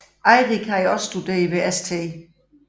Eirik havde også studeret ved St